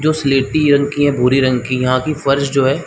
जो सिलेपि रंग की या भूरे रंग की यहाँ की फर्श जो है --